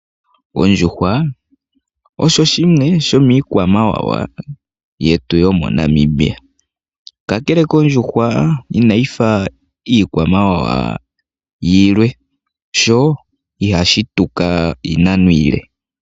Ondjuhwa osho shimwe shomiikwamawawa yetu yomoNamibia. Kakele kondjuhwa inayi fa iikwamawawa yilwe, yo ihayi tuka iinano iile.